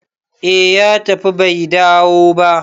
eh ya tafi Bai dawo ba